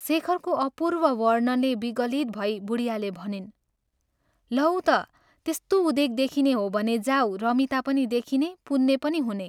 शेखरको अपूर्व वर्णनले विगलित भई बुढियाले भनिन् " लौ त त्यस्तो उदेक देखिने हो भने जाऊ रमिता पनि देखिने, पुन्ने पनि हुने।